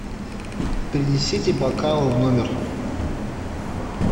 принесите бокалы в номер